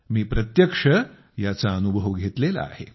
मी प्रत्यक्ष याचा अनुभव घेतलेला आहे